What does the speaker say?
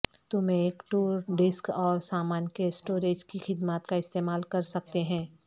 تم ایک tour desk اور سامان کے اسٹوریج کی خدمات کا استعمال کر سکتے ہیں